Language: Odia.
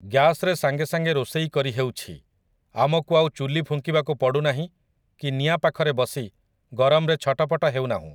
ଗ୍ୟାସ୍‌ରେ ସାଙ୍ଗେ ସାଙ୍ଗେ ରୋଷେଇ କରିହେଉଛି, ଆମକୁ ଆଉ ଚୁଲି ଫୁଙ୍କିବାକୁ ପଡ଼ୁନାହିଁ କି ନିଆଁ ପାଖରେ ବସି ଗରମରେ ଛଟପଟ ହେଉନାହୁଁ ।